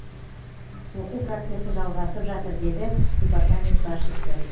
оқу процесі жалғасып жатыр деді департамент басшысы